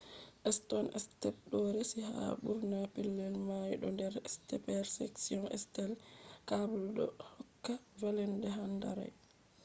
stone steps ɗo resi ha ɓurna pellel mai bo der steeper sections steel cables ɗo hokka vallende handrail